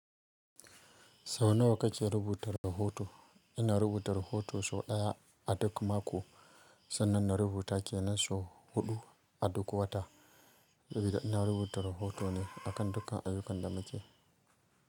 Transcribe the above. Sau nawa kake rubuta rahoto? Ina rubuta rahoto sau ɗaya a duk mako, sannan na rubuta ke nan sau huɗu a duk wata. Saboda ina rubuta rahoto ne akan dukkan ayyukan da muke yi.